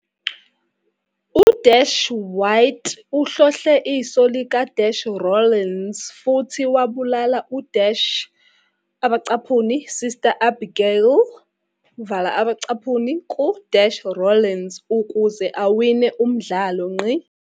U-Wyatt uhlohle iso lika-Rollins futhi wabulala u-"Sister Abigail" ku-Rollins ukuze awine umdlalo.